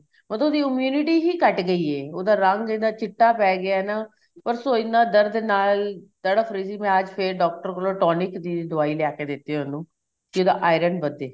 ਉਹਦੋ ਦੀ immunity ਹੀ ਘੱਟ ਗਈ ਏ ਉਹਦਾ ਰੰਗ ਇੰਨਾ ਚਿੱਟਾ ਪੈ ਗਿਆ ਨਾ ਪਰਸੋ ਇੰਨਾ ਦਰਦ ਨਾਲ ਤੜਫ ਰਹੀ ਸੀ ਮੈਂ ਅੱਜ ਫੇਰ doctor ਕੋਲੋ tonic ਦੀ ਦਵਾਈ ਲਿਆ ਕੇ ਦਿੱਤੀ ਉਹਨੂੰ ਜਿਦਾ iron ਵੱਧੇ